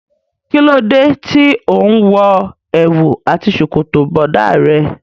Kí ló dé tí òun wo èwù àti ṣòkòtò bọ̀dá rẹ.